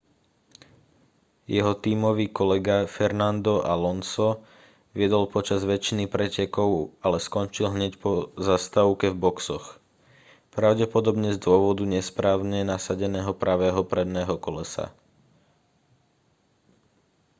jeho tímový kolega fernando alonso viedol počas väčšiny pretekov ale skončil hneď po zastávke v boxoch pravdepodobne z dôvodu nesprávne nasadeného pravého predného kolesa